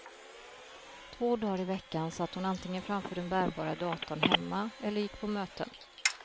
Två dagar i veckan satt hon antingen framför den bärbara datorn hemma eller gick på möten.